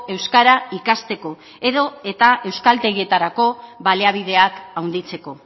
euskara ikasteko edota euskaltegietarako baliabideak handitzeko